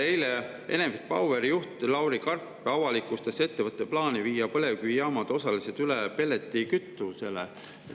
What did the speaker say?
Eile Enefit Poweri juht Lauri Karp avalikustas ettevõtte plaani viia põlevkivijaamad osaliselt üle pelletikütusele.